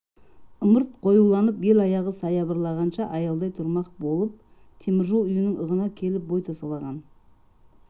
ымырт қоюланып ел аяғы саябырлағанша аялдай тұрмақ болып темір жол үйінің ығына келіп бой тасалаған